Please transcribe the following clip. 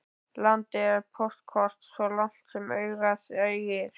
Landið er póstkort svo langt sem augað eygir.